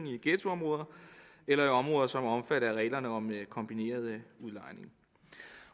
i ghettoområder eller områder som er omfattet af reglerne om kombineret udlejning